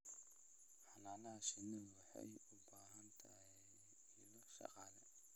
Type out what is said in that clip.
Xannaanada shinnidu waxay u baahan tahay ilo dhaqaale.